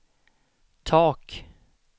tak